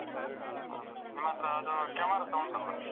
ಹೌದು ನಿಮ್ಮತ್ರ ಅದು camera ಸ ಉಂಟಲ್ಲ.